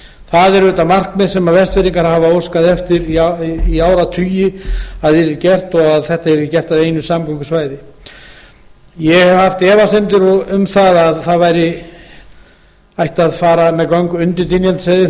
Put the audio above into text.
það er auðvitað markmið sem vestfirðingar hafa óskað eftir í áratugi að yrði gert og að þetta yrði gert að einu samgöngusvæði ég hef haft efasemdir um að það ætti að fara með göng undir dynjandisheiði þau